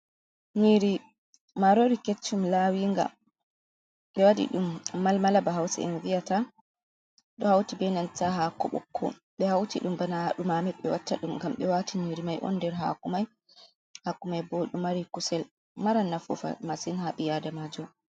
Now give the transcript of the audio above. Nyiiri maaroori ketchum, laawinga ɓe waɗi dum mal mala ba hause en vi'ata ɗo hawti bee nanta haako ɓokko bye hawti ɗum bana dumame ɓe watta ɗum ngam ɓe waati nyiiri mai on nder haako mai bo doy mari kusel mara nafu masin ha ɓii aadamaajo.